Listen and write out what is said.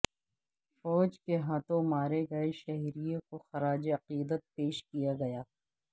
فوج کے ہاتھوں مارے گئے شہریوں کو خراج عقیدت پیش کیا گیا